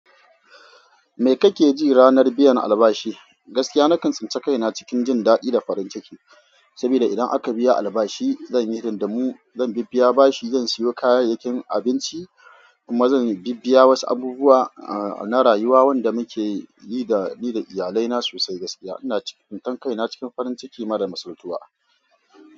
Me kake ji ranar biyan albashi? Gaskiya na kan tsinkaici na cikin jin daɗi da farin ciki saboda idan aka biya albashi, zan yi hidindumu, zan biya bashi, zan siyo kayayyakin abinci kuma zan bibbiya wasu abubuwa, uh, na rayuwa wanda muke yi da, yi da iyalai na sosai. Gaskiya ina tsintan kai na cikin farin ciki, madamsaltuwa.